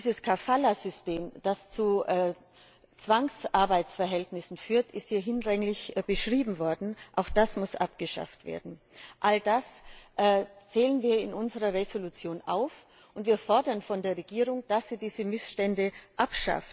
Das Kafala System, das zu Zwangsarbeitsverhältnissen führt, ist hier hinlänglich beschrieben worden. Auch das muss abgeschafft werden! All das zählen wir in unserer Entschließung auf, und wir fordern von der Regierung, dass sie diese Missstände beseitigt.